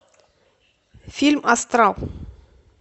фильм астрал